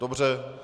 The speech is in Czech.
Dobře.